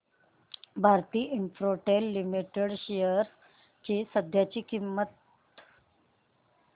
Bharti Infratel limited shares ची सध्याची किंमत